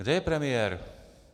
Kde je premiér?